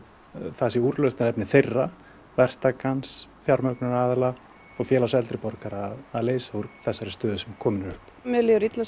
það sé úrlausnarefni þeirra verktakans fjármögnunaraðila og Félags eldri borgara að leysa úr þessari stöðu sem komin er upp mér líður illa